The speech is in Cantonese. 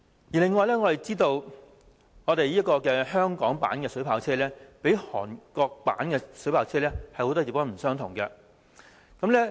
此外，我們知道香港所用的水炮車，較韓國所用的有很多不同之處。